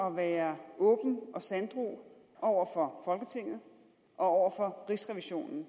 at være åben og sanddru over for folketinget og over for rigsrevisionen